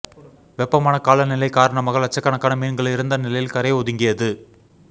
வெப்பமான காலநிலை காரணமாக லட்சக்கணக்கான மீன்கள் இறந்த நிலையில் கரை ஒதுங்கியது